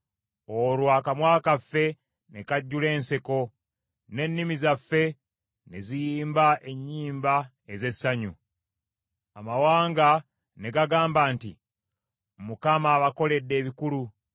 Olwo akamwa kaffe ne kajjula enseko, ne nnimi zaffe ne ziyimba ennyimba ez’essanyu. Amawanga ne gagamba nti, “ Mukama abakoledde ebikulu.”